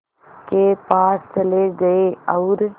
के पास चले गए और